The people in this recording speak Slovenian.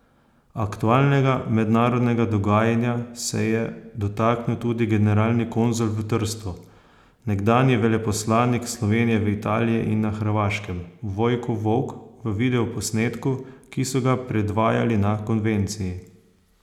Aktualnega mednarodnega dogajanja se je dotaknil tudi generalni konzul v Trstu, nekdanji veleposlanik Slovenije v Italiji in na Hrvaškem, Vojko Volk v videoposnetku, ki so ga predvajali na konvenciji.